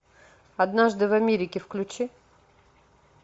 однажды в америке включи